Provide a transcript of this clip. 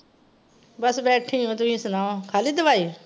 ਬੱਸ ਬੈਠੀ ਆਂ ਤੁਹੀਂ ਸੁਣਾਓ, ਖਾਲੀ ਦਵਾਈ